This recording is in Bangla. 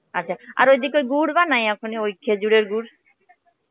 আচ্ছা, আর ওই দিকে ওই গুড় বানায় খেজুরের গুড়?